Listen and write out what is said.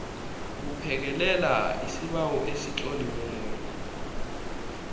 buphekelela isibawo esitloliweko